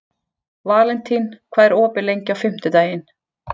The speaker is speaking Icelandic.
Valentín, hvað er opið lengi á fimmtudaginn?